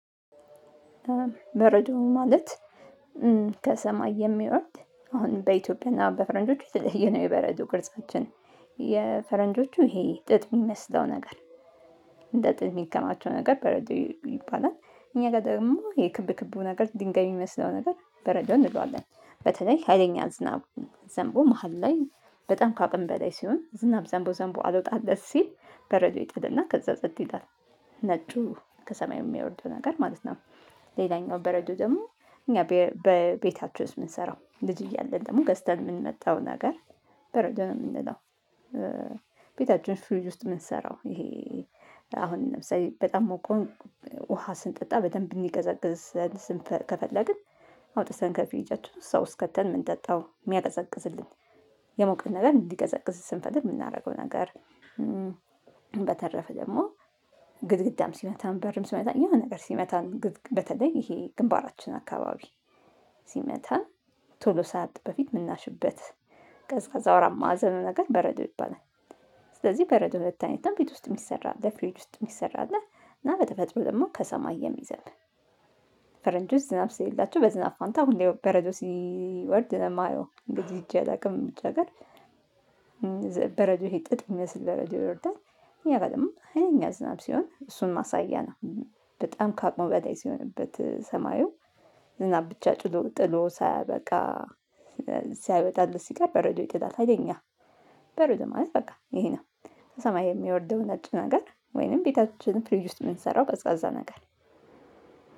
በረዶ ማለት ከሰማይ የሚወርድ አሁን በኢትዮጵያ እና በፈረንጆች የተለየ ነው። የበረዶ ቅርጻችን የፈረንጆቹ ይሄ ጥጥ የሚመስለው ነገር እንደ ጥጥ የሚከማቸው ነገር በረዶ ይባላል። እኛ ጋር ደግሞ የክብ ክቡ ነገር ድንጋይ የሚመስለው ነገር በረዶ እንለዋለን። በተለይ ሀይለኛ ዝናብ ዘንቦ መሃል ላይ በጣም ከአቅም በላይ ሲሆን ዝናብ ዘንቦ ዘንቦ አልወጣለት ሲል በረዶ ይጥልና ከዛ ጸጥ ይላል ነጩ ከሰማይ የሚወርደው ነገር ማለት ነው። ሌላኛው በረዶ ደግሞ እኛ በቤታችን ውስጥ የምንሰራው ልጅ እያለን ደግሞ ገዝተን የምንመጣው ነገር በረዶ ነው የምንለው። ቤታችን ፍሪጅ ውስጥ የምንሰራው ይሄ አሁን ለምሳሌ በጣም ሞቆን ውሃ ስንጠጣ በደንብ እንዲቀዘቅዝ ስንፈል ከፈለግን አውጥተን ከፍሪጃችን ውስጥ ከተን ምንጠጣው የሚያቀዘቅዝልን የሞቀን ነገር እንዲቀዘቅዝ ስንፈልግ የምናደርገው ነገር። በተረፈ ደግሞ ግድግዳም ሲመታም በርም ሲመታ የሆነ ነገር ሲመታን በተለይ ይሄ ግንባራችን አካባቢ ሲመታን ቶሎ ሳያብጥ በፊት የምናሽበት ቀዝቃዛው አራት ማዕዘን ነገር በረዶ ይባላል። ስለዚህ በረዶ ሁለት አይነት ነው ቤት ውስጥ የሚሰራ አለ ፍሪጅ ውስጥ የሚሰራ አለ። እና በተፈጥሮ ደግሞ ከሰማይ የሚዘብ ፈረንጆች ዝናብ ስሌላቸው በዝናብ ፋንታ ሁሌ በረዶ ሲወርድ ነው ማየው እንግዲህ ሄጄ አላውቅም ውጭ ሀገር። በረዶ ይህ ጥጥ ይመስል በረዶ ይወርዳል እኔ አላቅም ሀይለኛ ዝናብ ሲሆን እሱን ማሳያ ነው። በጣም ካቅሙ በላይ ሲሆንበት ሰማዩ እና ብቻ ጭሎ ጥሎ ሳያበቃ ሳይወጣለት ሲቀር በረዶ ይጥላል ሀይለኝ በረዶ ማለት በቃ ይሄ ነው። ሰማይ የሚወርደው ነጭ ነገር ወይንም ቤታችንን ፍሪጅ ውስጥ የምንሰራው ቀዝቃዛ ነገር።